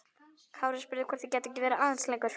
Kári spurði hvort þeir gætu ekki verið aðeins lengur.